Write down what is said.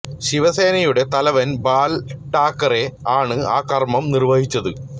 ശിവസേനയുടെ തലവൻ ബാൽ ഠാക്കറെ ആണ് ആ കർമ്മം നിർവഹിച്ചത്